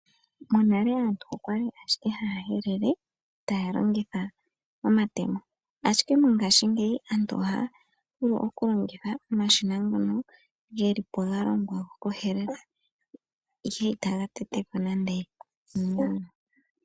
Monale aantu okwali ashike haya helele taya longitha omatemo, ashike mongaashingeyi aantu ohaya vulu okulongitha omashina ngono gelipo galongwa gokuhelela ihe itagatetepo nande iimeno.